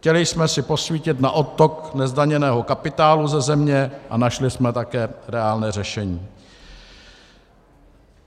Chtěli jsme si posvítit na odtok nezdaněného kapitálu ze země a našli jsme také reálné řešení.